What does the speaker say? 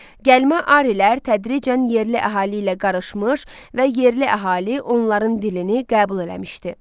Gəlmə arilər tədricən yerli əhali ilə qarışmış və yerli əhali onların dilini qəbul eləmişdi.